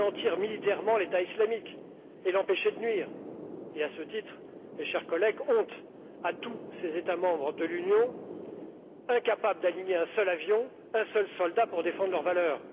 Anéantir militairement l'État islamique et l'empêcher de nuire et, à ce titre, chers collègues, honte à tous ces États membres de l'Union incapables d'aligner un seul avion, un seul soldat pour défendre leurs valeurs.